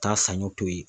Taa sanɲɔ to yen